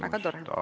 Väga tore!